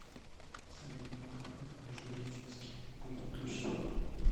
салют на выходных в междуреченске будет дождь